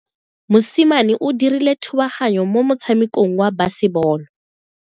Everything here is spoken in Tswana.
Mosimane o dirile thubaganyo mo motshamekong wa basebolo.